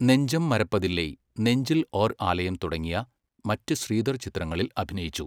നെഞ്ചം മരപ്പതില്ലൈ, നെഞ്ചിൽ ഓർ ആലയം തുടങ്ങിയ മറ്റ് ശ്രീധർ ചിത്രങ്ങളിൽ അഭിനയിച്ചു.